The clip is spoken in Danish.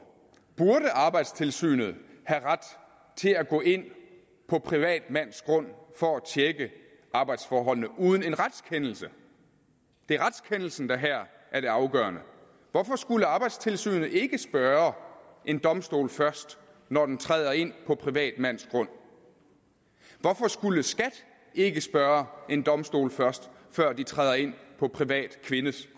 burde arbejdstilsynet have ret til at gå ind på privatmands grund for at tjekke arbejdsforholdene uden en retskendelse det er retskendelsen der her er det afgørende hvorfor skulle arbejdstilsynet ikke spørge en domstol først når de træder ind på privatmands grund hvorfor skulle skat ikke spørge en domstol først før de træder ind på privatkvindes